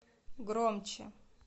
громче